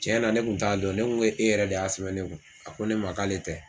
Cɛnna ne kun t'a dɔn ne ko ko e yɛrɛ de y'a sɛbɛn ne kun a ko ne ma k'ale tɛ.